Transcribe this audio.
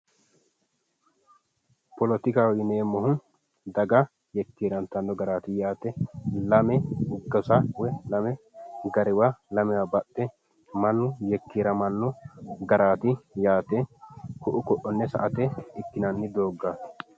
Politikaho yineemmohu daga yekkeerantanno garaati yaate lame gasa woy lame garewa baxxe mannu yekkeeramanno garaati yaate ku'u ko'onne sa"ate ikkinanni dooggaati